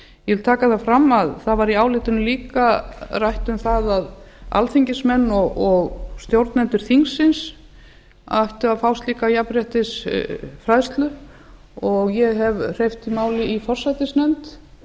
ég vil taka það fram að í álitinu var líka rætt um það að alþingismenn og stjórnendur þingsins ættu að fá slíka jafnréttisfræðslu og ég hef hreyft máli í forsætisnefnd